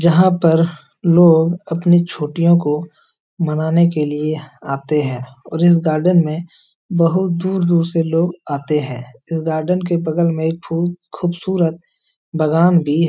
जहाँ पर लोग अपनी छुट्टियों को मानाने के लिए आतें हैं और इस गार्डन में बहुत दूर दूर से लोग आते हैं इस गार्डन के बगल में खूब खूबसूरत बागान भी --